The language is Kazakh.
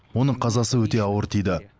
оның қазасы өте ауыр тиді